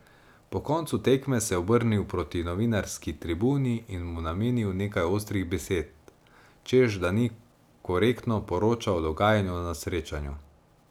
Po koncu tekme se je obrnil proti novinarski tribuni in mu namenil nekaj ostrih besed, češ da ni korektno poročal o dogajanju na srečanju.